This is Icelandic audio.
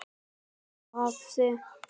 Halla höfði.